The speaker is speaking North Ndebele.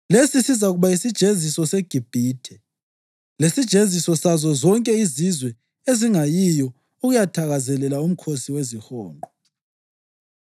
Lesi sizakuba yisijeziso seGibhithe lesijeziso sazo zonke izizwe ezingayiyo ukuyathakazelela uMkhosi weziHonqo.